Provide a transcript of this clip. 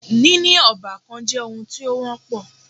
Níní ọ́bàkan jẹ́ oun tí o wọ́pọ̀.